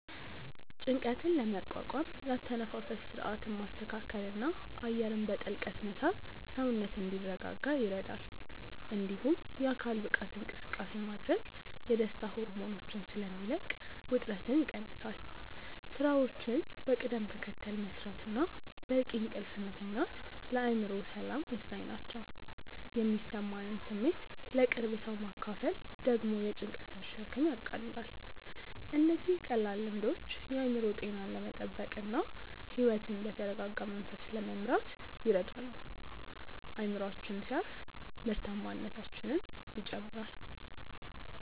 ጭንቀትን ለመቋቋም የአተነፋፈስ ሥርዓትን ማስተካከልና አየርን በጥልቀት መሳብ ሰውነት እንዲረጋጋ ይረዳል። እንዲሁም የአካል ብቃት እንቅስቃሴ ማድረግ የደስታ ሆርሞኖችን ስለሚለቅ ውጥረትን ይቀንሳል። ሥራዎችን በቅደም ተከተል መሥራትና በቂ እንቅልፍ መተኛት ለአእምሮ ሰላም ወሳኝ ናቸው። የሚሰማንን ስሜት ለቅርብ ሰው ማካፈል ደግሞ የጭንቀትን ሸክም ያቃልላል። እነዚህ ቀላል ልምዶች የአእምሮ ጤናን ለመጠበቅና ሕይወትን በተረጋጋ መንፈስ ለመምራት ይረዳሉ። አእምሮአችን ሲያርፍ ምርታማነታችንም ይጨምራል።